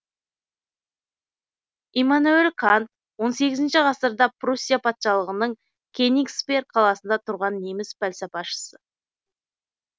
иммануел кант он сегізінші ғасырда пруссия патшалығының кенигсберг қаласында тұрған неміс пәлсапашысы